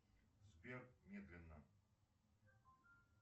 сбер медленно